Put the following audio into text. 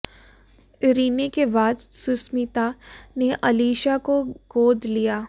Rinne के बाद सुष्मिता ने अलीशा को गोद लिया